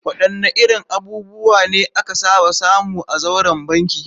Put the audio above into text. Wadanne irin abubuwa ne aka saba samu a zauren banki?